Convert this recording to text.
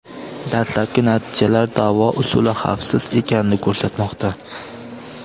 Dastlabki natijalar davo usuli xavfsiz ekanini ko‘rsatmoqda.